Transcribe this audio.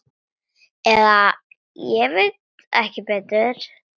Eða ég veit ekki betur.